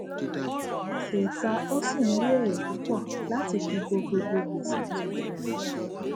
gbèsè ìta ó sì ń rí èrè púpọ láti fi bo gbogbo gbèsè tó wà nílẹ